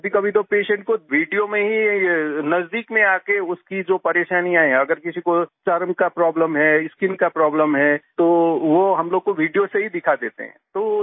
और कभीकभी तो पेशेंट को वीडियो में ही नजदीक में आ के उसकी जो परेशानियाँ है अगर किसी को चर्म का प्रोब्लेम है स्किन का प्रोब्लेम है तो वो हम लोग को वीडियो से ही दिखा देते हैं